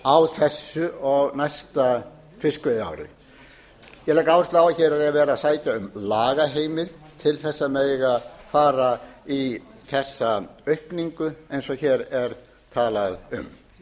á þessu og næsta fiskveiðiári ég legg áherslu á að hér er verið að sækja um lagaheimild til að mega fara í þessa aukningu eins og hér er talað um